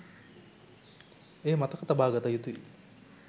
එය මතක තබාගත යුතුයි